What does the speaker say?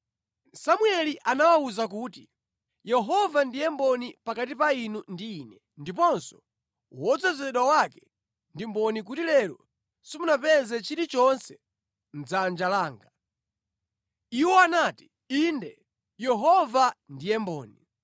Samueli anawawuza kuti, “Yehova ndiye mboni pakati pa inu ndi ine, ndiponso wodzozedwa wake ndi mboni kuti lero simunapeze chilichonse mʼdzanja langa.” Iwo anati, “Inde, Yehova ndiye mboni.”